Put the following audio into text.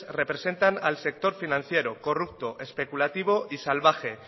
representan al sector financiero corrupto especulativo y salvaje